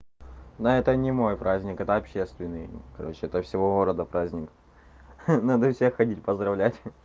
но это не мой праздник это общественный короче это всего города праздник надо всех ходить поздравлять